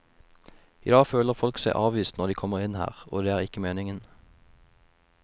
I dag føler folk seg avvist når de kommer inn her og det er ikke meningen.